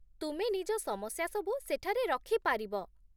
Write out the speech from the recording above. ତୁମେ ନିଜ ସମସ୍ୟା ସବୁ ସେଠାରେ ରଖିପାରିବ